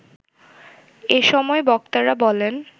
এ সময় বক্তারা বলেন